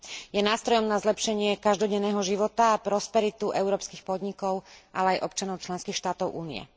Je nástrojom na zlepšenie každodenného života a prosperitu európskych podnikov, ale aj občanov členských štátov Únie.